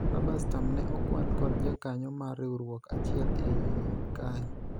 raba stam ne okwal kod jakanyo mar riwruok achiel e iye kae